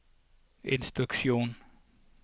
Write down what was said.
instruksjon